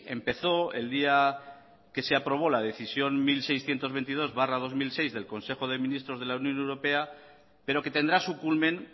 empezó el día que se aprobó la decisión mil seiscientos veintidós barra dos mil seis del consejo de ministros de la unión europea pero que tendrá su culmen